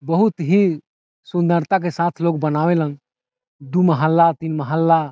बहुत ही सुंदरता के साथ लोग बनावेला दू महला तीन महला।